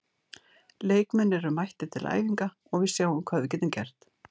Leikmenn eru mættir til æfinga og við sjáum hvað við getum gert.